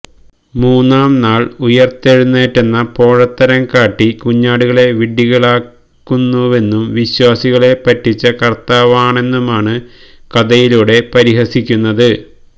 മൂന്നാം നാള് ഉയിര്ത്തെഴുന്നേറ്റെന്ന പോഴത്തരം കാട്ടി കുഞ്ഞാടുകളെ വിഡ്ഢികളാക്കുന്നുവെന്നും വിശ്വാസികളെ പറ്റിച്ച കര്ത്താവാണെന്നുമാണ്കഥയിലൂടെ പരിഹസിക്കുന്നത്